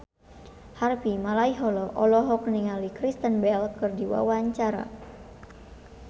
Harvey Malaiholo olohok ningali Kristen Bell keur diwawancara